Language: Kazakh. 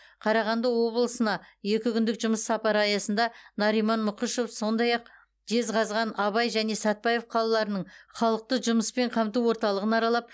қарағанды облысына екі күндік жұмыс сапары аясында нариман мұқышев сондай ақ жезқазған абай және сәтпаев қалаларының халықты жұмыспен қамту орталығын аралап